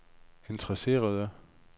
interesserede